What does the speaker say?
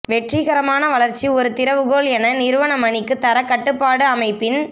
வெற்றிகரமான வளர்ச்சி ஒரு திறவுகோல் என நிறுவன மணிக்கு தரக் கட்டுப்பாட்டு அமைப்பின்